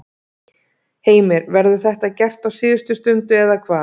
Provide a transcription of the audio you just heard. Heimir: Verður þetta gert á síðustu stundu eða hvað?